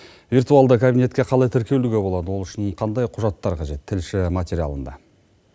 виртуалды кабинетке қалай тіркелуге болады ол үшін қандай құжаттар қажет тілші материалында